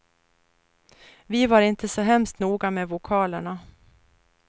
Vi var inte så hemskt noga med vokalerna.